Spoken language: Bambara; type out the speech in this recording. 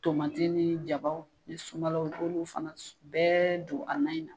Tomati ni jabaw ni sumalaw i b'olu fana bɛɛ don a nan in na.